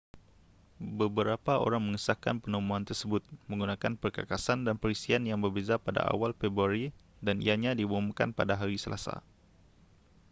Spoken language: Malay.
beberapa orang mengesahkan penemuan tersebut menggunakan perkakasan dan perisian yang berbeza pada awal februari dan ianya diumumkan pada hari selasa